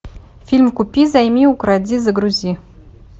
фильм купи займи укради загрузи